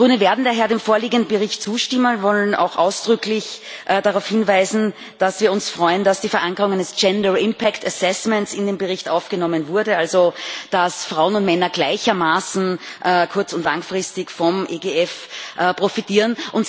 Wir Grüne werden daher dem vorliegenden Bericht zustimmen, wollen auch ausdrücklich darauf hinweisen, dass wir uns freuen, dass die Verankerung eines gender impact assessment in den Bericht aufgenommen wurde, also dass Frauen und Männer gleichermaßen kurz und langfristig vom EGF profitieren.